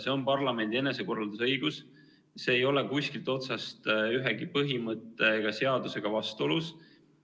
See on parlamendi enesekorraldusõigus ja see ei ole kuskilt otsast ühegi põhimõtte ega seadusega vastuolus.